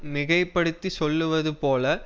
மிகைப்படுத்திச் சொல்வது போல